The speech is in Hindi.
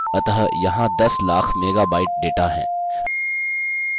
अतः यहाँ दस लाख मेगाबाइट डेटा है